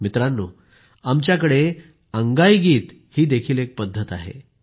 मित्रांनो आमच्याकडे अंगाईगीत ही ही एक पद्धत आहे